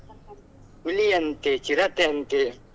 ಹುಲಿ ಅಂತೇ ಚಿರತೆ ಅಂತೇ.